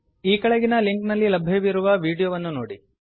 ಈ ಕೆಳಗಿನ ಲಿಂಕ್ ನಲ್ಲಿ ಲಭ್ಯವಿರುವ ವೀಡಿಯೋವನ್ನು ನೋಡಿ